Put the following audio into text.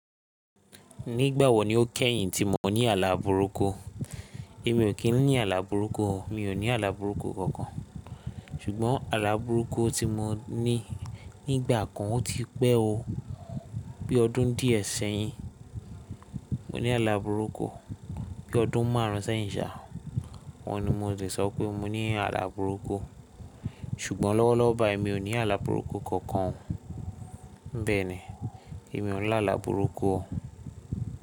Nígbà wo ni o kẹ́yìn tí mo ní àlá burúkú? Èmi ò kí ń ní àlá burúkú o. Mi ò ní àlá burúkú kankan. Ṣùgbọ́n àlá burúkú tí mo ní nígbà kan ó ti pẹ́ o. Bí ọdún díẹ̀ sẹ́yìn mo ní àlá burúkú. Bí ọdún márùn ún sẹ́yìn sa, ohun ni mo lè sọ pé mo ní àlá burúkú. Ṣùgbọ́n lọ́wọ́lọ́wọ́ báyìí mi ò ní àlá burúkú kankan. Mbé ni, èmi ò ní lá àlá burúkú o.